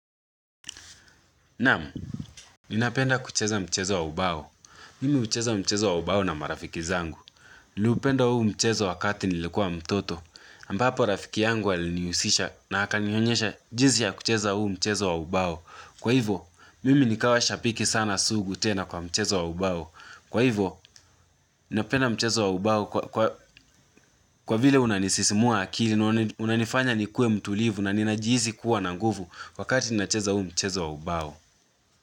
Naam ninapenda kucheza mchezo wa ubao mimi ucheza mchezo wa ubao na marafiki zangu niliupenda huu mchezo wakati nilikuwa mtoto ambapo rafiki yangu alinihusisha na akanionyesha jinsi ya kucheza huu mchezo wa ubao kwa hivo mimi nikawa shabiki sana sugu tena kwa mchezo wa ubao kwa hivo ninapenda mchezo wa ubao kwa vile unanisisimua akili na unanifanya nikuwe mtulivu na ninajihisi kuwa na nguvu wakati ninacheza huu mchezo wa ubao.